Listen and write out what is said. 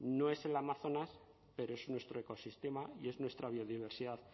no es el amazonas pero es nuestro ecosistema y es nuestra biodiversidad